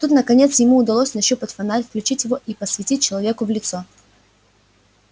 тут наконец ему удалось нащупать фонарь включить его и посветить человеку в лицо